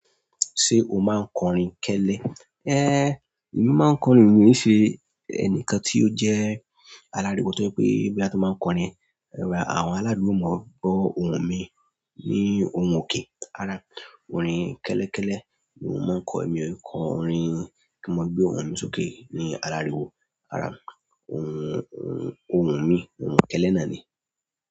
Ṣé o máa ń kọrin kẹ́lẹ́? Èmi máa ń kọrin, èmi nì ṣe ẹnìkan tí ó jẹ́ aláriwo tó jẹ́ pé bí a bá tí máa ń kọrin, àwọn aládùúgbò máa gbọ́ ohùn mi ní ohùn òkè, rárá. Orin kẹ́lẹ́ kẹ́lẹ́ ni mo máa ń kọ, èmi ò í kọ orin kí wọ́n gbé ohùn sókè ní aláriwo. Rárá. Ohùn, ohùn mi, ohùn kẹ́lẹ́ náà ni.